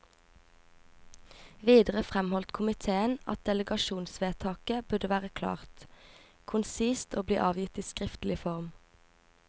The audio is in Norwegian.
Videre framholdt komiteen at delegasjonsvedtaket burde være klart, konsist og bli avgitt i skriftlig form.